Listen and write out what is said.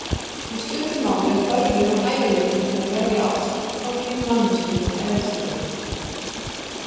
Í stuttu máli er þörfin og hæfileikinn til að verða ástfanginn manneskjunni eðlislægur.